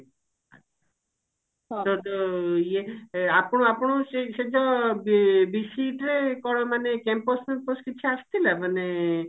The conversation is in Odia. ତାହେଲେ ତ ଇଏ ଆପଣ ଆପଣଙ୍କୁ ସେ ଯଉ ବି BCET ରେ କଣ ମାନେ campus ଫ୍ୟାମ୍ପସ କିଛି ଆସିଥିଲା ମାନେ